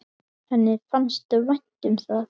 Henni fannst vænt um það.